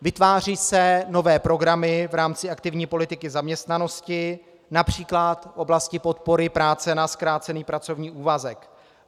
Vytvářejí se nové programy v rámci aktivní politiky zaměstnanosti například v oblasti podpory práce na zkrácený pracovní úvazek.